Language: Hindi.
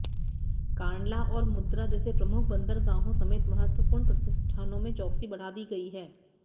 कांडला और मुंद्रा जैसे प्रमुख बंदरगाहों समेत महत्वपूर्ण प्रतिष्ठानों में चौकसी बढ़ा दी गई है